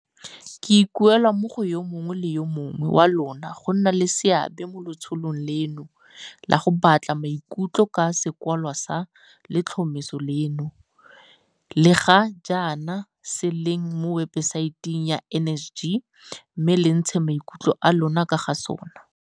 Ke ikuela mo go yo mongwe le yo mongwe wa lona go nna le seabe mo letsholong leno la go batla maikutlo ka sekwalwa sa letlhomeso leno, se ga jaana se leng mo webesaeteng ya NSG mme le ntshe maikutlo a lona ka ga sona.